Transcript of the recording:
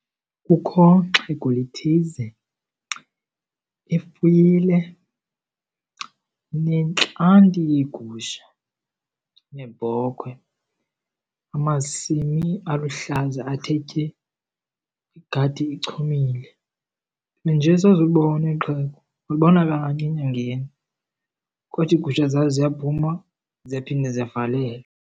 Kukho xhego lithize lifuyile, linentlanti yeegusha neebhokhwe, amasimi aluhlaza athe tye, igadi ichumile. Nje soze ulibone eli xhego, ulibona kanye enyangeni kodwa iigusha zalo ziyaphuma ziyaphinda zivalelwe.